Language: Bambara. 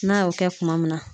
N'a y'o kɛ kuma min na